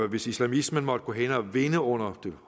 hvis islamismen måtte gå hen og vinde under det